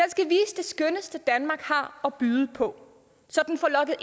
skønneste danmark har at byde på så den får lokket